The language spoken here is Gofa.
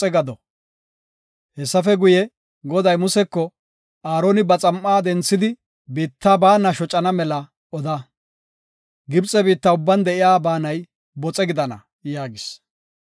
Hessafe guye, Goday Museko “Aaroni ba xam7a denthidi biitta baana shocana mela oda. Gibxe biitta ubban de7iya baanay boxe gidana” yaagis.